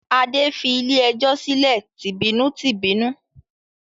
Adé fi ilé-ẹjọ́ sílẹ̀ tìbínú-tìbínú.